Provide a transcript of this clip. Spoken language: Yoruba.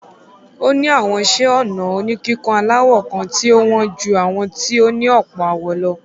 Ó ní àwọn iṣẹ́-ọnà oníkíkùn aláwọ̀ kan tí ó wọ́n ju àwọn tí ó ní ọ̀pọ̀ àwọ̀ lọ.